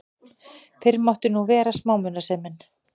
Fyrr mátti nú vera smámunasemin!